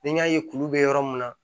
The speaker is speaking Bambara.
Ni n y'a ye kuru bɛ yɔrɔ min na